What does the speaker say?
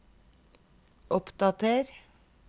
oppdater